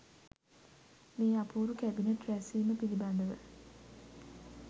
මේ අපූරු කැබිනට් රැස්වීම පිළිබඳ ව